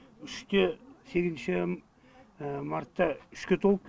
үште сегізінші мартта үшке толып